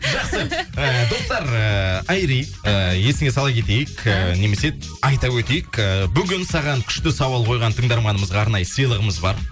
жақсы ыыы достар ыыы айри ы есіңе сала кетейік ы немесе айта өтейік ы бүгін саған күшті сауал қойған тыңдарманымызға арнайы сыйлығымыз бар